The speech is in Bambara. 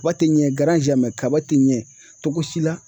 Kaba tɛ ɲɛ kaba te ɲɛ cogo si la